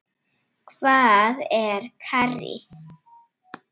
Hvað er karrí?